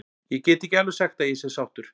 Ég get ekki alveg sagt að ég sé sáttur.